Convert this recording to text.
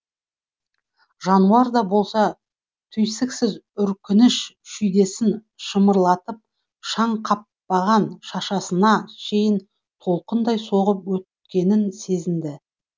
жануар да болса түйсіксіз үркініш шүйдесін шымырлатып шаң қаппаған шашасына шейін толқындай соғып өткенін сезінді